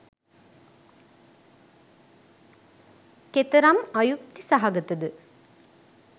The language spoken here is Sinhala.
කෙතරම් අයුක්ති සහගත ද?